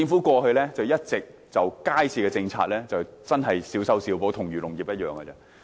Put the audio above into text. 過去，政府一直對街市政策小修小補，跟漁農業的情況一樣。